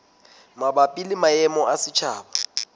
mabapi le maemo a setjhaba